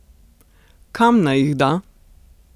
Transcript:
Kam naj jih da?